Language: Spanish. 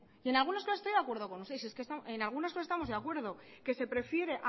en algunas cosas estoy de acuerdo con usted en algunas cosas estamos de acuerdo que se prefiere